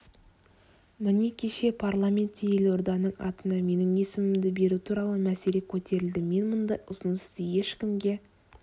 міне кеше парламентте елорданың атына менің есімімді беру туралы мәселе көтерілді мен мұндай ұсынысты ешкімге